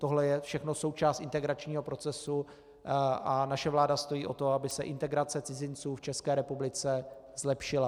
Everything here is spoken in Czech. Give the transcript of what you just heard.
Tohle je všechno součást integračního procesu a naše vláda stojí o to, aby se integrace cizinců v České republice zlepšila.